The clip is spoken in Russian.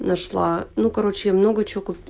нашла ну короче много